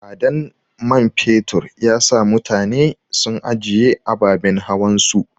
Tsadan mai fetur yasa mutane sun anjiye ababen hawan su.